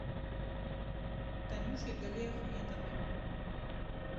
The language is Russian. танюшей галиахметовой